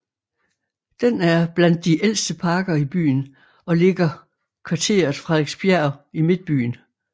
Den er blandt de ældste parker i byen og ligger kvarteret Frederiksbjerg i Midtbyen